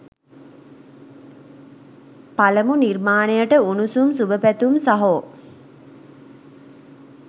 පලමු නිර්මාණයට උණුසුම් සුභපැතුම් සහෝ.